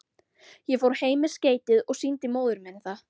Ég fór heim með skeytið og sýndi móður minni það.